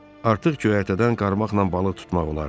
Artıq göyərtədən qarmaqla balıq tutmaq olardı.